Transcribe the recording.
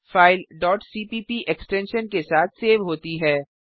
file cpp extension के साथ save होती है